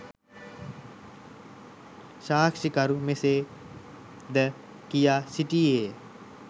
සාක්‌ෂි කරු මෙසේ ද කියා සිටියේය.